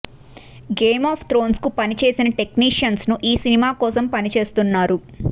game of thrones కు పనిచేసిన technicians ను ఈ సినిమా కోసం పనిచేస్తున్నారు